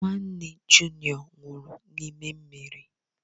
Nwanne junịọ nwụrụ n'ime mmiri.